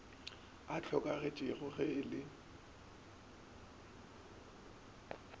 a hlokagetšego ge e le